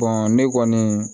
ne kɔni